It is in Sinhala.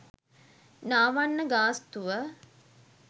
නාවන්න ගාස්තුව